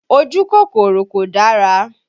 Ojú kòkòrò kò dára